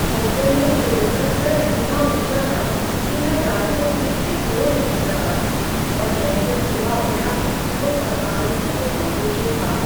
Hotel में शोर का स्तर इतना ऊंचा था कि मैं रात को ठीक से सो नहीं सका और मैं जब सुबह उठा तो थकान से बहुत दुखी था।